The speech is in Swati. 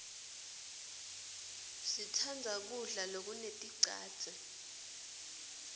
sitsandza kudla lokuneticadze